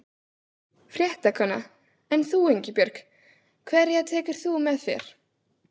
Fréttakona: En þú Ingibjörg, hverja tekur þú með þér?